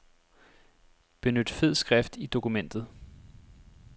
Benyt fed skrift i dokumentet.